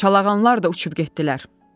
Çalağanlar da uçub getdilər.